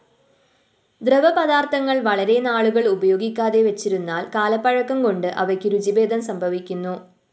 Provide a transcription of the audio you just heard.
ദ്രവപദാര്‍ത്ഥങ്ങള്‍ വളരെനാളുകള്‍ ഉപയോഗിക്കാതെ വെച്ചിരുന്നാല്‍ കാലപ്പഴക്കംകൊണ്ട് അവയ്ക്ക് രുചിഭേദം സംഭവിക്കുന്നു